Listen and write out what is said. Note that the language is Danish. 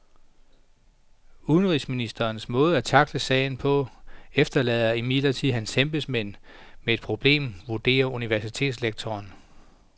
Udenrigsministerens måde at tackle sagen på efterlader imidlertid hans embedsmænd med et problem, vurderer universitetslektoren.